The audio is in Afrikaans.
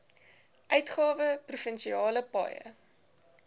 uitgawe provinsiale paaie